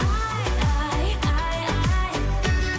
ай ай ай ай